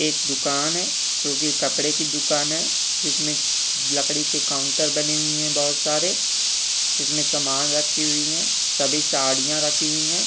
एक दुकान है जो की कपड़े की दुकान है जिसमे लकड़ी के काउंटर बने हुए हैं बहोत सारे जिसमे सामान रखी हुई है सभी साड़ियां रखी हुई हैं।